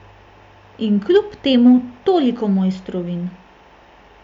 In kljub temu toliko mojstrovin!